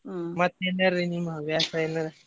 ಮತ್ತ್ ಇನ್ನೇನ್ ರೀ ನಿಮ್ ಹವ್ಯಾಸ ಏನಾರ.